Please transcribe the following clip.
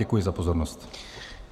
Děkuji za pozornost.